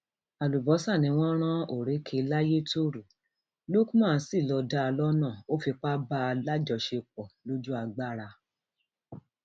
àlùbọsà ni wọn rán orékè layétọrọ lukman sí lọọ dá a lọnà ó fipá bá a láṣepọ lójú agbára